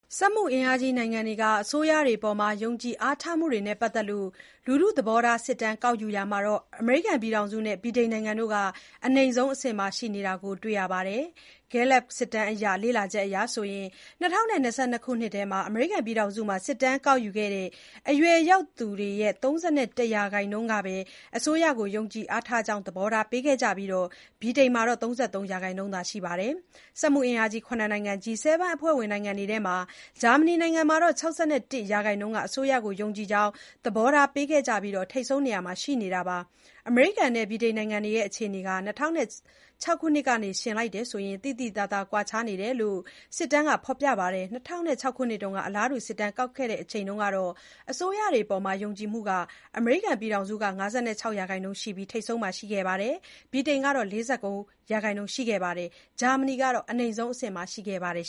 စက်မှုအင်အားကြီး နိုင်ငံတွေက အစိုးရတွေအပေါ် ယုံကြည်အားထားမှုတွေနဲ့ ပတ်သက်လို့ လူထုသဘောထားစစ်တမ်း ကောက်ယူရာမှာ အမေရိကန်နဲ့ ဗြိတိန်နိုင်ငံတွေက အနိမ့်ဆုံးအဆင့်မှာ ရှိနေတာတွေ့ရပါတယ်။ Gallup စစ်တမ်းရဲ့ လေ့လာချက်အရ ၂၀၂၂ ခုနှစ်ထဲ အမေရိကန်မှာ စစ်တမ်းကောက်ယူခဲ့တဲ့ အရွယ်ရောက်သူတွေရဲ့ ၃၁ ရာခိုင်နှုန်းကသာ အစိုးရကို ယုံကြည်အားထားကြောင်း သဘောထားပေးခဲ့ကြပြီး၊ ဗြိတိန်မှာ ၃၃ ရာခိုင်နှုန်းရှိတာ တွေ့ရပါတယ်။ စက်မှုအင်အားကြီး ၇ နိုင်ငံ (G-7) အဖွဲ့ဝင်တွေထဲက ဂျာမနီနိုင်ငံမှာတော့ ၆၁ ရာခိုင်နှုန်းက အစိုးရကို ယုံကြည်ကြောင်း သဘောထားပေးခဲ့ကြပြီး ထိပ်ဆုံးနေရာမှာ ရှိနေတာပါ။ အမေရိကန်နဲ့ ဗြိတိန်နိုင်ငံတွေက အခြေအနေဟာ ၂၀၀၆ ခုနှစ်ကနဲ့ယှဉ်ရင် သိသိသာသာ ကွာခြားနေတယ်လို့လည်း Gallup စစ်တမ်းက ဖော်ပြပါတယ်။ ၂၀၀၆ ခုနှစ်က အလားတူ စစ်တမ်းကောက်ယူခဲ့ရာမှာ အစိုးရတွေအပေါ် ယုံကြည်မှုမှာ အမေရိကန်က ၅၆ ရာခိုင်နှုန်းနဲ့ ထိပ်ဆုံးမှာရှိနေပြီး၊ ဗြိတိန်ကလည်း ၄၉ ရာခိုင်နှုန်း ရှိခဲ့သလို၊ ဂျာမနီကတော့ အနိမ့်ဆုံးအဆင့်မှာ ရှိခဲ့ပါတယ်